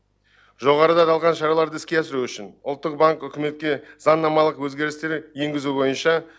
жоғарыда аталған шараларды іске асыру үшін ұлттық банк үкіметке заңнамалық өзгерістер енгізу бойынша